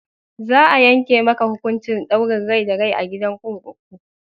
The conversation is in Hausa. Za a yanke maka hukuncin ɗaurin rai da rai a gidan kurkuku!